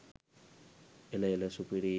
එල එල සුපිරියි